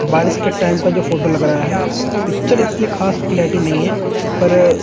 बारिश के टाइम का जो फोटो लग रहा है पिक्चर इतनी खास क्लैरिटी नहीं है पर--